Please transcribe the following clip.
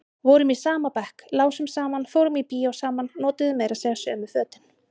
Vorum í sama bekk, lásum saman, fórum í bíó saman, notuðum meira segja sömu fötin.